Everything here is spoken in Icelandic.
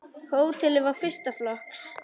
Hótelið var fyrsta flokks.